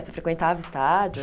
Você frequentava estádio?